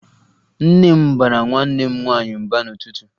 Nne m baara nwanne m nwaanyị mba n'ụtụtụ